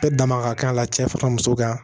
Bɛɛ dama ka kan ka cɛ fara muso kan